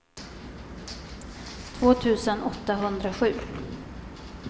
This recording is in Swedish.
två tusen åttahundrasju